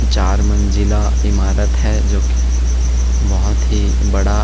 चार मंजिला इमारत है जो की बहुत ही बड़ा--